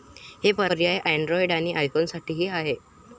हे पर्याय अँड्रॉइड आणि आयफोनसाठीही आहेत.